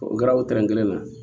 O kɛra o tɛrɛ kelen na